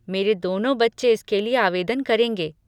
मेरे दोनों बच्चे इसके लिए आवेदन करेंगे।